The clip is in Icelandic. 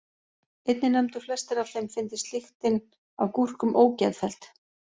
Einnig nefndu flestir að þeim fyndist lyktin af gúrkum ógeðfelld.